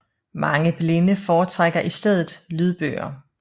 Mange blinde foretrækker i stedet lydbøger